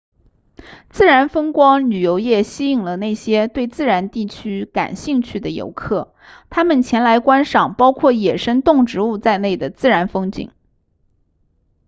自然风光旅游业吸引了那些对自然地区感兴趣的游客他们前来观赏包括野生动植物在内的自然风景